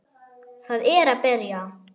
Það er að byrja.